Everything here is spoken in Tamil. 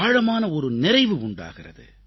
ஆழமான ஒரு நிறைவு உண்டாகிறது